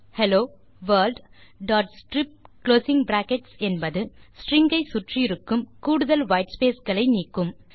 hello world strip என்பது string ஐ சுற்றி இருக்கும் கூடுதல் வைட்ஸ்பேஸ் களை நீக்கும்